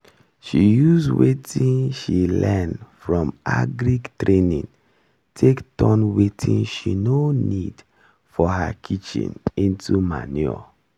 she use watin she learn from agri training take turn watin she no need for her kitchen into manure